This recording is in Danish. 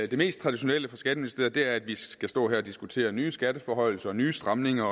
det mest traditionelle for skatteministeriet er at vi skal stå her og diskutere nye skatteforhøjelser nye stramninger